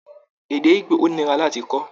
Èdè Igbo ò nira láti kọ́.